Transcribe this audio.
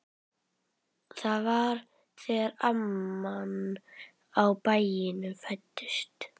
Það var þegar amman á bænum fæddist.